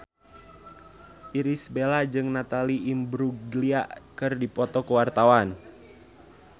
Irish Bella jeung Natalie Imbruglia keur dipoto ku wartawan